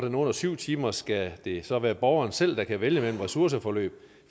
er under syv timer skal det så være borgeren selv der kan vælge mellem ressourceforløb